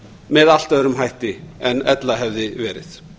með allt öðrum hætti en ella hefði verið